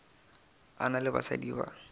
a na le basadi ba